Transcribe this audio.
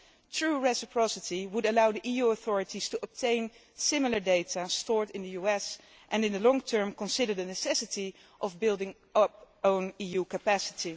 True reciprocity would allow the EU authorities to obtain similar data stored in the US and, in the long term, consider the necessity of building up our own EU capacity.